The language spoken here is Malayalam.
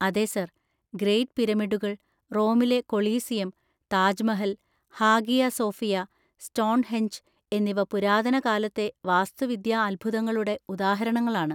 അതെ സാർ! ഗ്രേറ്റ് പിരമിഡുകൾ, റോമിലെ Colosseum, Taj Mahal, Hagia Sophia, Stonehenge എന്നിവ പുരാതനകാലത്തെ വാസ്തുവിദ്യാ അത്ഭുതങ്ങളുടെ ഉദാഹരണങ്ങളാണ്.